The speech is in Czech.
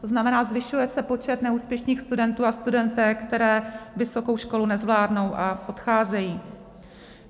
To znamená, zvyšuje se počet neúspěšných studentů a studentek, kteří vysokou školu nezvládnou a odcházejí.